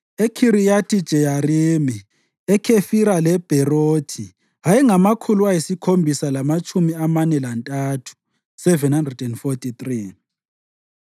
eKhiriyathi-Jeyarimi, eKhefira leBherothi ayengamakhulu ayisikhombisa lamatshumi amane lantathu (743),